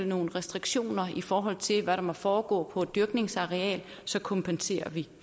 nogle restriktioner i forhold til hvad der må foregå på et dyrkningsareal så kompenserer vi